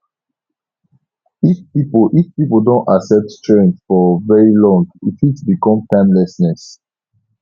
if pipo if pipo don accept trend for very long e fit become timelessness